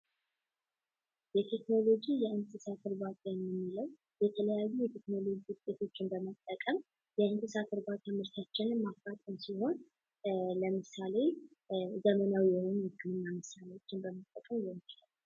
የቴክኖሎጂ የእንስሳት እርባታ የምንለው የተለያዩ ቴክኖሎጂዎችን በመጠቀም የእንስሳትን ዘር ማራባት ሲሆን ለምሳሌ ዘመናዊ የሆኑ የእንስሳት መሳሪያዎችን በመጠቀም ማከናወን ይቻላል።